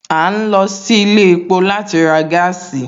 A ń lọ sí ilé epo láti ra gaasi